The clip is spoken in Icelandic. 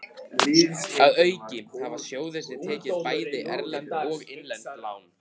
Að auki hafa sjóðirnir tekið bæði erlend og innlend lán.